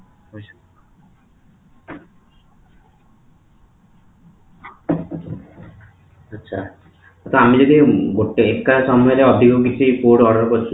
ଅଛ ତ ଆମେ ଯଦି ଗୋଟେ ଏକା ସମୟରେ ଅଧିକ ମିଶେଇ food order କରୁଛୁ